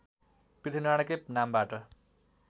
पृथ्वीनारायणकै नामबाट